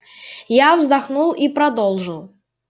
я вздохнул и продолжил